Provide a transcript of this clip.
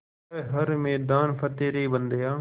कर हर मैदान फ़तेह रे बंदेया